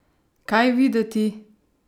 Kaj videti?